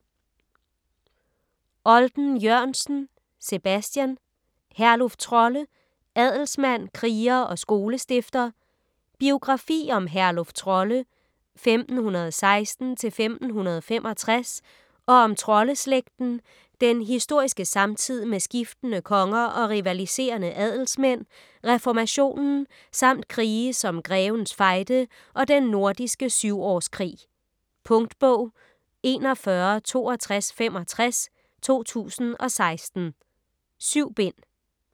Olden-Jørgensen, Sebastian: Herluf Trolle: adelsmand, kriger og skolestifter Biografi om Herluf Trolle (1516-1565) og om Trolle-slægten, den historiske samtid med skiftende konger og rivaliserende adelsmænd, reformationen samt krige som Grevens Fejde og Den Nordiske Syvårskrig. Punktbog 416265 2016. 7 bind.